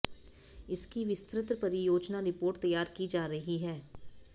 इसकी विस्तृत परियोजना रिपोर्ट तैयार की जा रही है